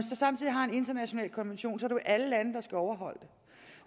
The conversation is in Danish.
så samtidig har en international konvention er det jo alle lande der skal overholde